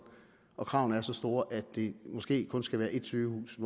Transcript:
og kravene er så store at det måske kun skal være ét sygehus i